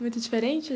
Muito diferente?